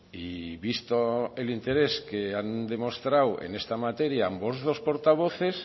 y visto el interés que han demostrado en esta materia ambos dos portavoces